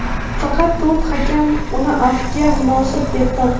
Faqat to‘rt hakam uni afvga munosib deb topdi.